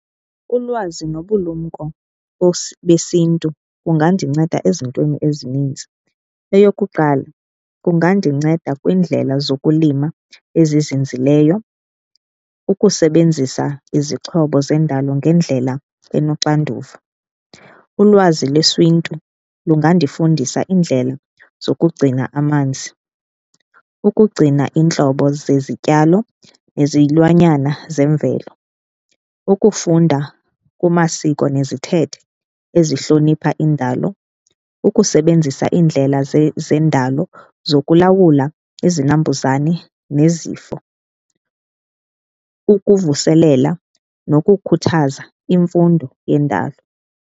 Ulwazi nobulumko besiNtu kungandinceda ezintweni ezininzi. Eyokuqala, kungandinceda kwiindlela zokulima ezizinzileyo, ukusebenzisa izixhobo zendalo ngendlela enoxanduva. Ulwazi lesiNtu lungandifundisa indlela zokugcina amanzi, ukugcina iintlobo zezityalo nezilwanyana zemvelo. Ukufunda kumasiko nezithethe ezihlonipha indalo, ukusebenzisa iindlela zendalo zokulawula izinambuzane nezifo, ukuvuselela nokukhuthaza imfundo yendalo.